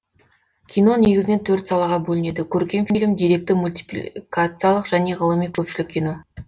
кино негізінен төрт салаға бөлінеді көркем фильм деректі мультипликациялық және ғылыми көпшілік кино